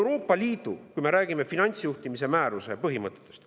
Räägime Euroopa Liidu finantsjuhtimise määruse põhimõtetest.